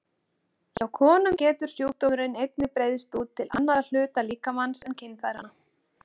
Hjá konum getur sjúkdómurinn einnig breiðst út til annarra hluta líkamans en kynfæranna.